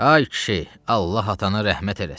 Ay kişi, Allah atana rəhmət eləsin.